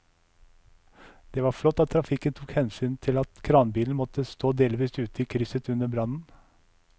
Det var flott at trafikken tok hensyn til at kranbilen måtte stå delvis ute i krysset under brannen.